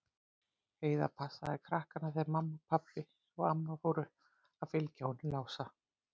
Heiða passaði krakkana þegar mamma og pabbi og amma fóru til að fylgja honum Lása.